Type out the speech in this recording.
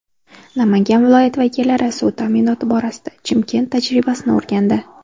Namangan viloyati vakillari suv ta’minoti borasida Chimkent tajribasini o‘rgandi.